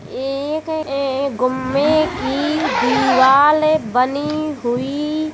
एक ऐ गुम्मे की दीवाल बनी हुयी --